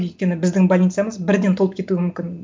өйткені біздің больницамыз бірден толып кетуі мүмкін